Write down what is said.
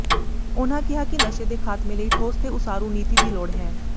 ਉਨ੍ਹਾਂ ਕਿਹਾ ਕਿ ਨਸ਼ੇ ਦੇ ਖਾਤਮੇ ਲਈ ਠੋਸ ਤੇ ਉਸਾਰੂ ਨੀਤੀ ਦੀ ਲੋੜ ਹੈ